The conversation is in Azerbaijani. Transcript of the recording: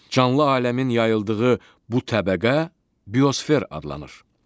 Canlı aləmin yayıldığı bu təbəqə biosfer adlanır.